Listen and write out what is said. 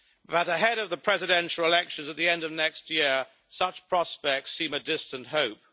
but ahead of the presidential elections at the end of next year, such prospects seem a distant hope.